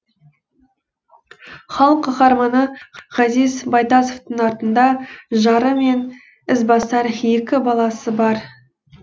халық қаһарманы ғазиз байтасовтың артында жары мен ізбасар екі баласы бар